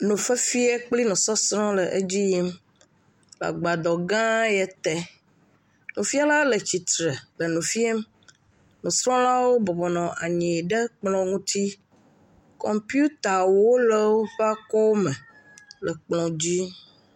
Nufiafia kple nusɔsrɔ̃ le edzi yim le agbadɔ gã ya te. Nufiala le tsitre le nu fiam. Nusrɔ̃lawo bɔbɔnɔ anyi ɖe kplɔ ŋuti. Kɔmpitawo le woƒe akɔw me le kplɔ dzi.